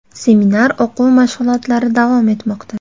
Seminar o‘quv-mashg‘ulotlari davom etmoqda.